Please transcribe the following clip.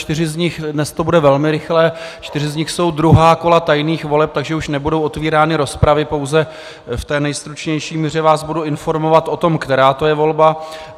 Čtyři z nich - dnes to bude velmi rychlé - čtyři z nich jsou druhá kola tajných voleb, takže už nebudou otvírány rozpravy, pouze v té nejstručnější míře vás budu informovat o tom, která to je volba.